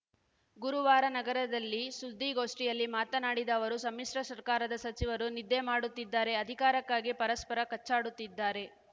ಗುರುವಾರ ನಗರದಲ್ಲಿ ಸುದ್ದಿಗೋಷ್ಠಿಯಲ್ಲಿ ಮಾತನಾಡಿದ ಅವರು ಸಮ್ಮಿಶ್ರ ಸರ್ಕಾರದ ಸಚಿವರು ನಿದ್ದೆ ಮಾಡುತ್ತಿದ್ದಾರೆ ಅಧಿಕಾರಕ್ಕಾಗಿ ಪರಸ್ಪರ ಕಚ್ಚಾಡುತ್ತಿದ್ದಾರೆ